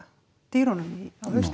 dýrunum